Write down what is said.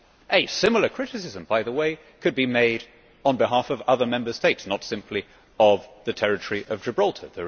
A similar criticism, by the way, could be made on behalf of other Member States, not simply of the territory of Gibraltar.